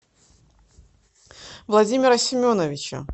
владимира семеновича